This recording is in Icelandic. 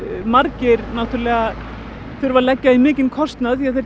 margir þurfa að leggja í mikinn kostnað